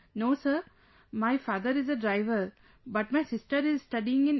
No sir, my father is a driver but my sister is studying in